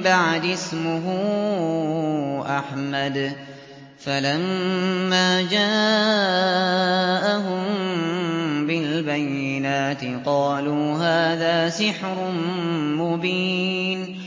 بَعْدِي اسْمُهُ أَحْمَدُ ۖ فَلَمَّا جَاءَهُم بِالْبَيِّنَاتِ قَالُوا هَٰذَا سِحْرٌ مُّبِينٌ